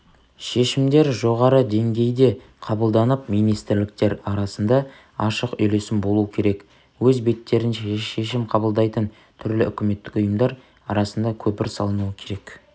шешімдер жоғары деңгейде қабылданып министрліктер арасында ашық үйлесім болу керек өз беттерінше шешім қабылдайтын түрлі үкіметтік ұйымдар арасында көпір салынуы керек